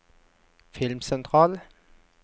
filmsentral